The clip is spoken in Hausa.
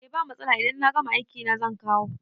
Eh ba matsala idan na gama aiki na zan kawo